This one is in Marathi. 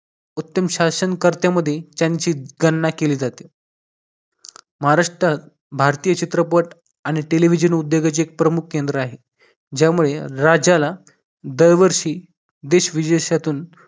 उत्तम शासनकर्त्यामध्ये त्यांची गणना केली जाते महाराष्ट्रात भारतीय चित्रपट आणि TELEVISION उद्योगाचे प्रमुख केंद्र आहे. ज्यामुळे राज्याला दरवर्षी देश-विदेशातून